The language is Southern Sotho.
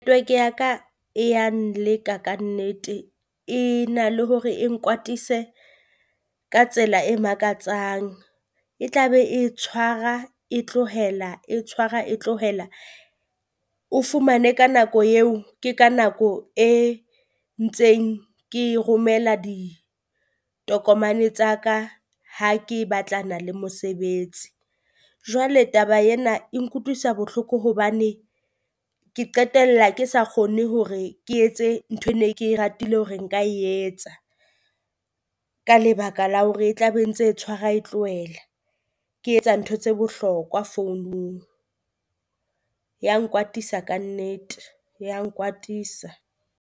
Ya ka e ya nleka kannete e na le hore e nkwatisa ka tsela e makatsang, e tla be e tshwara e tlohela e tshwara e tlohela. O fumane ka nako eo ke ka nako e ntseng ke romela ditokomane tsa ka ha ke batlana le mosebetsi, jwale taba ena e nkutlwisa bohloko hobane ke qetella ke sa kgone hore ke etse ntho E ne ke ratile hore nka etsa. Ka lebaka la hore e tla be ntse tshwara e tlohela ke etsa ntho tse bohlokwa founung, ya nkwatisa kannete ya nkwatisa.